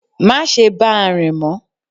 Má se bá a rìn mọ́